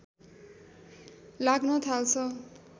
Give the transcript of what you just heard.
लाग्न थाल्छ